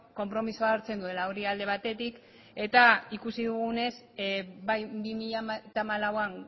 konpromisoa hartzen duela hori alde batetik eta ikusi dugunez bai bi mila hamalauan